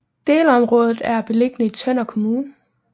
Delområdet er beliggende i Tønder Kommune